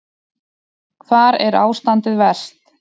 Hvar er ástandið verst?